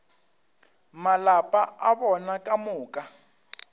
malapa a bona ka moka